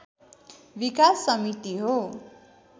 विकास समिति हो।